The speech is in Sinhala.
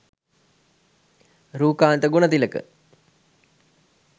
rookantha gunathilaka